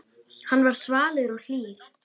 Hann var svalur og hlýr.